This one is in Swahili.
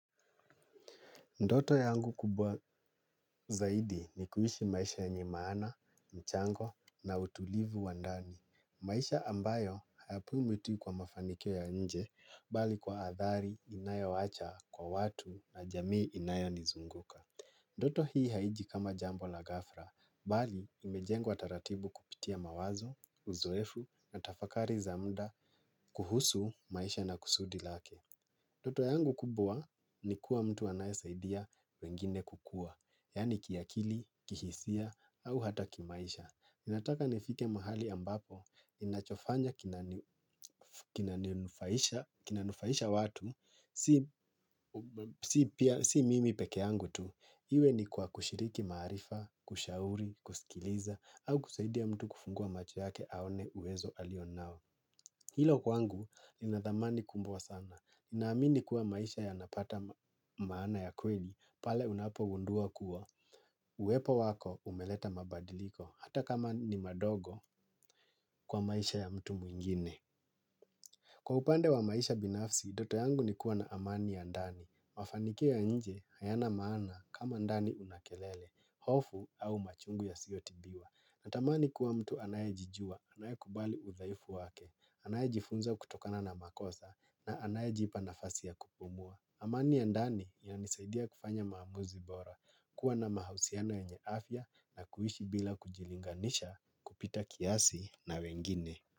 Ndoto yangu kubwa zaidi ni kuishi maisha yenye maana, mchango na utulivu wa ndani. Maisha ambayo hayapu mwiti kwa mafanikio ya nje, bali kwa athari inayowacha kwa watu na jamii inayonizunguka. Ndoto hii haiji kama jambo la ghafla, bali imejengwa taratibu kupitia mawazo, uzoefu na tafakari za mda kuhusu maisha na kusudi lake. Ndoto yangu kubwa ni kuwa mtu anayesaidia wengine kukua, yaani kiakili, kihisia, au hata kimaisha. Ninataka nifike mahali ambapo, ninachofanya kinanufaisha watu, si mimi pekee yangu tu. Iwe ni kwa kushiriki maarifa, kushauri, kusikiliza, au kusaidia mtu kufungua macho yake aone uwezo alionao. Hilo kwangu ina thamani kubwa sana. Ninaamini kuwa maisha yanapata maana ya kweli, pale unapogundua kuwa. Uwepo wako umeleta mabadiliko, hata kama ni madogo kwa maisha ya mtu mwingine. Kwa upande wa maisha binafsi, ndoto yangu ni kuwa na amani ya ndani. Mafanikio ya nje, hayana maana kama ndani una kelele, hofu au machungu yasiyotibiwa. Natamani kuwa mtu anayejijua, anayekubali udhaifu wake, anayejifunza kutokana na makosa na anayejipa nafasi ya kupumua. Amani ya ndani yananisaidia kufanya maamuzi bora, kuwa na mahusiana ya afya na kuishi bila kujilinganisha kupita kiasi na wengine.